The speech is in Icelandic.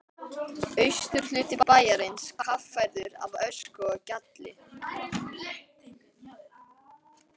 Austurhluti bæjarins kaffærður af ösku og gjalli.